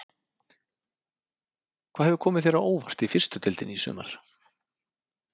Hvað hefur komið þér á óvart í fyrstu deildinni í sumar?